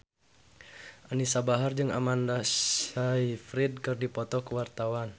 Anisa Bahar jeung Amanda Sayfried keur dipoto ku wartawan